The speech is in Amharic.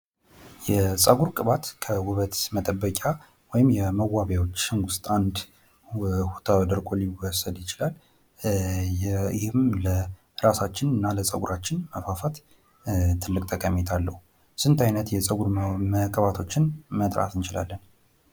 የፀጉር ቅባት ከውበት መጠበቂያ መሳሪያዎች ወይም መዋቢያዎች አንድ ተደርጎ ሊወሰድ ይችላል ይህም ለራሳችንና ለፀጉራችን መፋፋት ጥቅልቅ ጠቀሜታ አለው ።ስንት አይነት የፀጉር ቅባቶችን መጥራት እንችላለን?